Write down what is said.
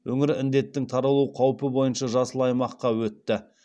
өңір індеттін таралу қаупі бойынша жасыл аймаққа өтті